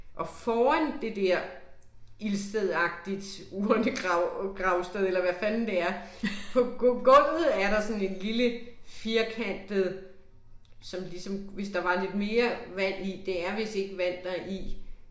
Og foran det der ildstedagtigt urnegrav gravssted eller hvad fanden det er, på på gulvet er der sådan en lille firkantet som ligesom hvis der var lidt mere vand i, det er vist ikke vand, der er i